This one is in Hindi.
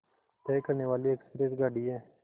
तय करने वाली एक्सप्रेस गाड़ी है